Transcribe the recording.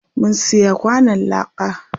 Mun siya kwanon láka.